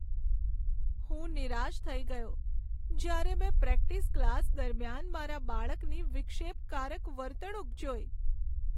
હું નિરાશ થઈ ગયો જ્યારે મેં પ્રેક્ટિસ ક્લાસ દરમિયાન મારા બાળકની વિક્ષેપકારક વર્તણૂક જોઈ.